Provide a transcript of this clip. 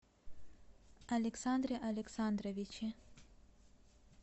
александре александровиче